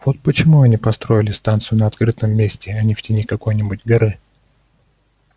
вот почему они и построили станцию на открытом месте а не в тени какой-нибудь горы